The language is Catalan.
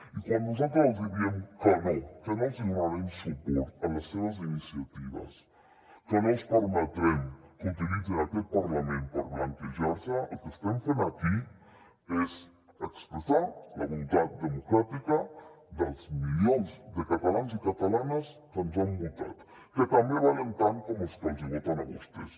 i quan nosaltres els hi diem que no que no els hi donarem suport en les seves iniciatives que no els permetrem que utilitzin aquest parlament per blanquejar se el que estem fent aquí és expressar la voluntat democràtica dels milions de catalans i catalanes que ens han votat que també valen tant com els que els voten a vostès